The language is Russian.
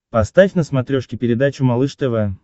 поставь на смотрешке передачу малыш тв